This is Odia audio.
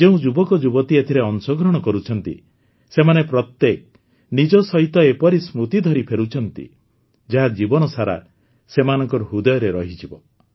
ଯେଉଁ ଯୁବକଯୁବତୀ ଏଥିରେ ଅଂଶଗ୍ରହଣ କରୁଛନ୍ତି ସେମାନେ ପ୍ରତ୍ୟେକ ନିଜ ସହିତ ଏପରି ସ୍ମୃତି ଧରି ଫେରୁଛନ୍ତି ଯାହା ଜୀବନସାରା ସେମାନଙ୍କ ହୃଦୟରେ ରହିଯିବ